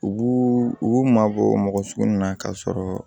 U b'u u mabɔ mɔgɔ sugu min na k'a sɔrɔ